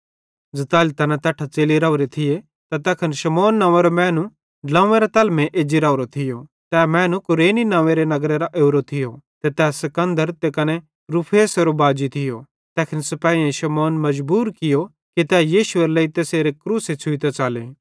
ज़ताली तैना तैट्ठां च़ेलि राओरे थिये त तैखन शमौन नंव्वेरो मैनू ड्लोंव्वेरां तैलमेइं एज्जी राओरो थियो तै मैनू कुरेनी नंव्वेरे नगरेरां ओरो थियो ते तै सिकन्दर ते कने रूफुसेरो बाजी थियो तैखन सिपाहेईं शमौन मजबूर कियो कि तै यीशुएरे लेइ तैसेरी क्रूसे छ़ुइतां च़ले